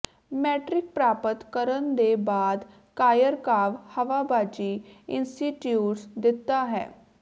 matric ਪ੍ਰਾਪਤ ਕਰਨ ਦੇ ਬਾਅਦ ਕਾਯਰ੍ਕਾਵ ਹਵਾਬਾਜ਼ੀ ਇੰਸਟੀਚਿਊਟ ਦਿੱਤਾ ਹੈ